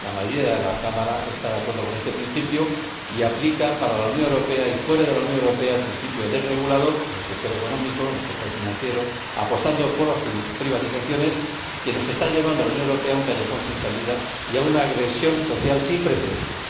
La mayoría de la Cámara está de acuerdo con este principio y aplica, para la Unión Europea y fuera de ella, el principio desregulador ―en el sector económico, en el sector financiero, apostando por las privatizaciones―, que está llevando a la Unión Europea a un callejón sin salida y a una agresión social sin precedentes.